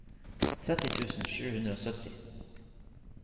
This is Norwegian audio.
tretti tusen sju hundre og sytti